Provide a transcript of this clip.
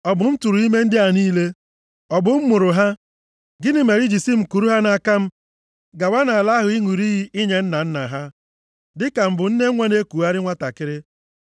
Ọ bụ m tụrụ ime ndị a niile? Ọ bụ m mụrụ ha? Gịnị mere i ji si m kuru ha nʼaka m gawa nʼala ahụ ị ṅụrụ nʼiyi inye nna nna ha, + 11:12 \+xt Jen 13:5\+xt* dịka m bụ nne nwa na-ekugharị nwantakịrị?